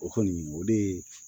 O kɔni o de ye